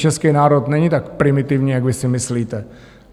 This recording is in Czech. Český národ není tak primitivní, jak vy si myslíte.